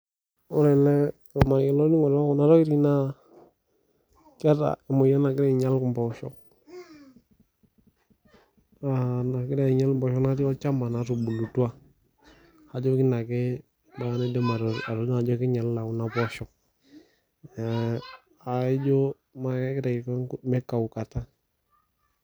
Ore ena naa emoyian, naa keata emoyian nagira ainyal empoosho, nagira ainyal empoosho naatii olchamba natubulutua, aijo keina ake aidim atodua ajo keinyalita ena poosho, naa kaijo kegira aiko meikaukata.